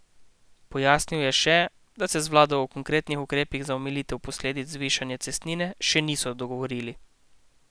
Pojasnil je še, da se z vlado o konkretnih ukrepih za omilitev posledic zvišanja cestnine še niso dogovorili.